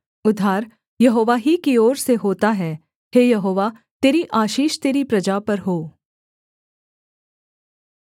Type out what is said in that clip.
उद्धार यहोवा ही की ओर से होता है हे यहोवा तेरी आशीष तेरी प्रजा पर हो